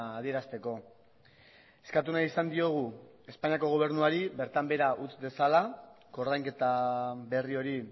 adierazteko eskatu nahi izan diogu espainiako gobernuari bertan behera utz dezala koordainketa berri hori